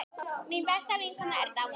Mín besta vinkona er dáin.